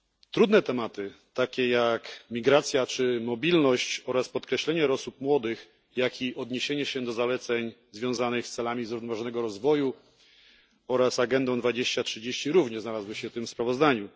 Trudne tematy, takie jak migracja czy mobilność, oraz podkreślenie roli osób młodych, jak i odniesienie się do zaleceń związanych z celami zrównoważonego rozwoju oraz Agendą 2030, również znalazły się w tym sprawozdaniu.